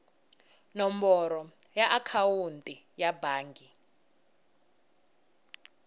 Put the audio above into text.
nomboro ya akhawunti ya bangi